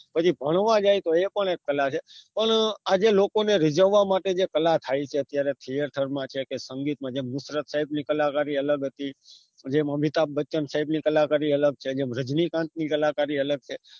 પછી ભણવા જાયે તો એ પણ એક કલા છે પણ આજે લોકોને રીજાવા માટે જે કલા થાયછે અત્યારે theater માં ક્યાંક ક્યાક્ર સંગીત માં જેમનુત્ય type ની કલાકારી અલગ હતી જેમ અમિતાભ બચન type ની કલાકારી અલગ છે જેમ રજની કાન્ત ની કલાકારી અલગ છે